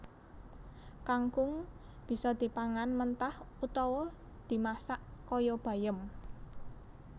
Kangkung bisa dipangan mentah utawa dimasak kaya bayem